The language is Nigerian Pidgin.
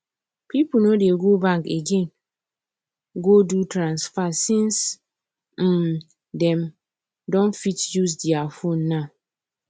people nor dey go bank again go do transfer since um them um fit use there phone now